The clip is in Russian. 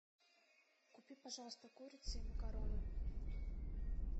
купи пожалуйста курицы и макароны